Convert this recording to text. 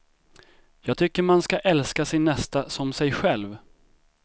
Jag tycker man ska älska sin nästa som sig själv.